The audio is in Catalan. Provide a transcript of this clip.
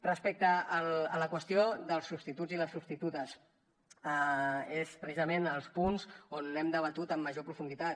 respecte a la qüestió dels substituts i les substitutes és precisament els punts on hem debatut amb major profunditat